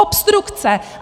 Obstrukce!